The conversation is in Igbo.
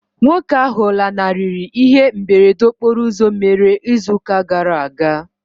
Nwoke ahụ lanarịrị ihe mberede okporo ụzọ mere ịzụ ụka gara aga.